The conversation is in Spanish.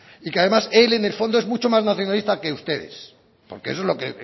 y que además él en el fondo es mucho más nacionalista que ustedes porque eso es lo que